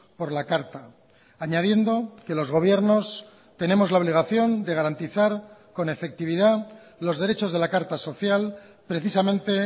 por la carta añadiendo que los gobiernos tenemos la obligación de garantizar con efectividad los derechos de la carta social precisamente